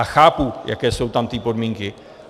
A chápu, jaké jsou tam ty podmínky.